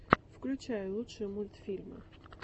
включай лучшие мультфильмы